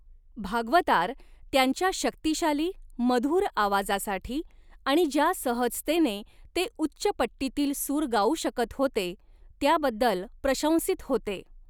भागवतार त्यांच्या शक्तिशाली, मधुर आवाजासाठी आणि ज्या सहजतेने ते उच्च पट्टीतील सूर गाऊ शकत होते त्याबद्दल प्रशंसित होते.